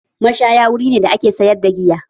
Mashaya wuri ne da ake sayar da giya